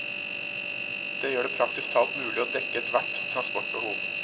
Det gjør det praktisk talt mulig å dekke et hvert transportbehov.